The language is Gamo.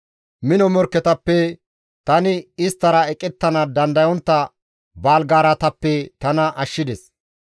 Mino morkketappe, tani isttara eqettana dandayontta baaligaaratappe tana ashshides.